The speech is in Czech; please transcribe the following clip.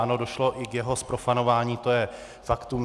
Ano, došlo i k jeho zprofanování, to je faktum.